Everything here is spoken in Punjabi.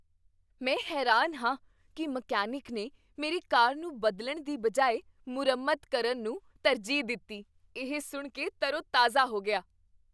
ਮੈਂ ਹੈਰਾਨ ਹਾਂ ਕੀ ਮਕੈਨਿਕ ਨੇ ਮੇਰੀ ਕਾਰ ਨੂੰ ਬਦਲਣ ਦੀ ਬਜਾਏ ਮੁਰੰਮਤ ਕਰਨ ਨੂੰ ਤਰਜੀਹ ਦਿੱਤੀ। ਇਹ ਸੁਣ ਕੇ ਤਰੋਤਾਜ਼ਾ ਹੋ ਗਿਆ।